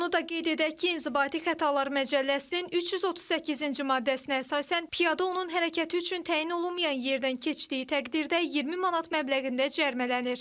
Onu da qeyd edək ki, İnzibati xətalar məcəlləsinin 338-ci maddəsinə əsasən, piyada onun hərəkəti üçün təyin olunmayan yerdən keçdiyi təqdirdə 20 manat məbləğində cərimələnir.